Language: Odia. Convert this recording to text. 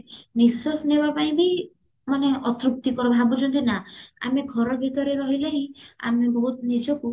ନିଶ୍ଵାସ ନବ ପାଇଁ ବି ଆଥୋକ୍ତୀକର ଭାବୁଛନ୍ତି ନାଁ ଆମେ ଘର ଭିତରେ ରହିଲେ ହିଁ ଆମେ ବହୁତ ନିଜକୁ